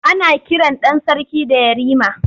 Ana kiran ɗan sarki da Yarima.